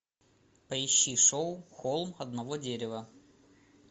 поищи шоу холм одного дерева